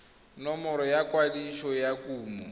nomoro ya ikwadiso ya kumo